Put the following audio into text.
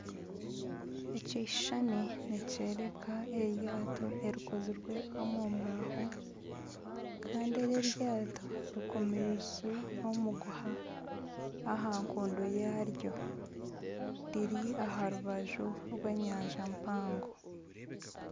Ekishushani nikyoreka eryaato erikozirwe omumbaaho Kandi eri eryaato rikomiise omuguha ahankondo yaaryo riri aharubaju rw'enyanja mpango.